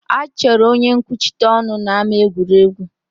A chọrọ onye nkwuchite ọnụ n'ámá egwuregwu